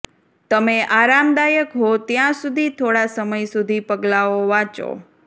તમે આરામદાયક હો ત્યાં સુધી થોડા સમય સુધી પગલાંઓ વાંચો